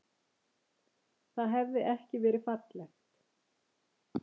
Það hefði ekki verið fallegt.